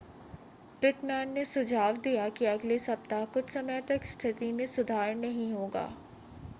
Pitman ने सुझाव दिया कि अगले सप्ताह कुछ समय तक स्थिति में सुधार नहीं होगा